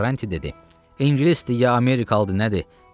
Karranti dedi: ingilisdir, ya Amerikalıdır, nədir?